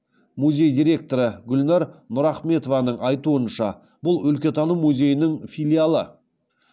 музей директоры гүлнәр нұрахметованың айтуынша бұл өлкетану музейінің филиалы